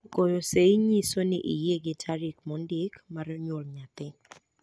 goyo seyi nyiso ni oyiegi tarik mondiki mar nyuol nyathi